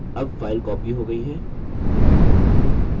अब file copied हो गई है